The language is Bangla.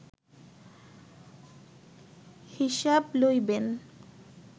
হিসাব লইবেন